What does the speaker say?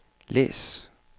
læs